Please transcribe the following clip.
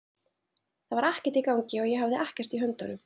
Það var ekkert í gangi og ég hafði ekkert í höndunum.